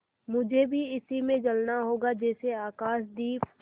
मुझे भी इसी में जलना होगा जैसे आकाशदीप